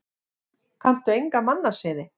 Kanntu enga mannasiði?